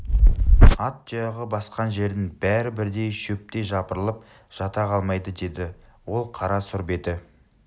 ат тұяғы басқан жердің бәрі бірдей шөптей жапырылып жата қалмайды деді ол қара сұр беті